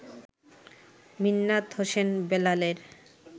মিন্নাত হোসেন বেলালের